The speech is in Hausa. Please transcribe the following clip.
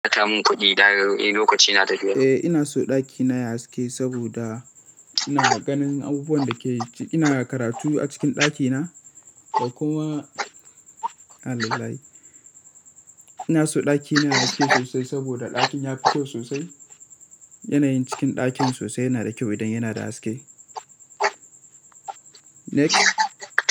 Eh ina so ɗakina ya yi haske saboda ina ganin abubuwan da ke yi. Ina karatu a cikin ɗakina, da kuma innalillahi. Ina so ɗakina ya yi haske sosai saboda ɗakin ya fi kyau sosai. Yanayin cikin ɗakin sosai yana da kyau idan yana da haske. Next.